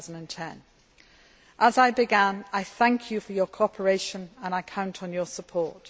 for 2010. As I began, I thank you for your cooperation and I count on your support.